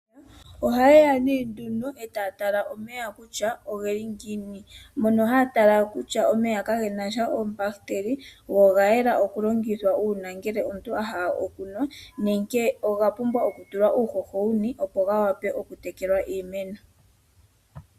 Aantu ohaye ya nee nduno etaya tala kutya omeya ogatya ngiini, mono haya tala kutya omeya ka gena oombahiteli go oga yela oku longithwa uuna omuntu ahala okunwa nenge oga pumbwa oku tulwa uuhoho wuni, opo ga wape oku tekelwa iimeno.